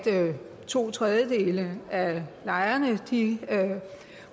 to tredjedele af lejerne